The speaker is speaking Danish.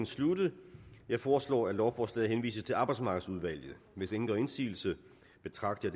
sluttet jeg foreslår at lovforslaget henvises til arbejdsmarkedsudvalget hvis ingen gør indsigelse betragter